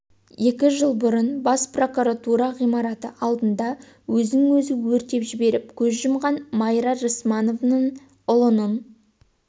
екі жыл бұрын бас прокуратура ғимараты алдында өзін өзі өртеп жіберіп көз жұмған майра рысмановның ұлының